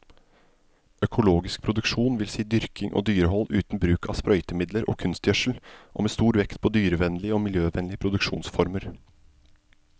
Økologisk produksjon vil si dyrking og dyrehold uten bruk av sprøytemidler og kunstgjødsel, og med stor vekt på dyrevennlige og miljøvennlige produksjonsformer.